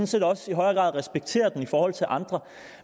set også i højere grad respekterer det i forhold til andre